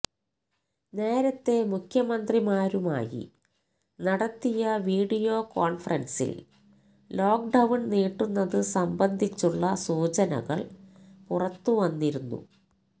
നേരത്തെ മുഖ്യമന്ത്രിമാരുമായി നടത്തിയ വീഡിയോ കോണ്ഫറന്സില് ലോക്ഡൌണ് നീട്ടുന്നത് സംബന്ധിച്ചുള്ള സൂചനകള് പുറത്ത് വന്നിരുന്നു